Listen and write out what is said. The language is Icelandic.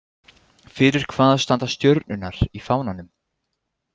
Fyrir hvað standa stjörnurnar í fánanum ?